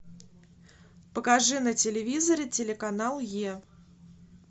покажи на телевизоре телеканал е